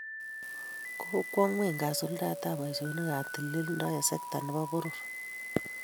Kokowo ing'weny kasuldaetab boisyonikab tililindo eng sekta nebo poror.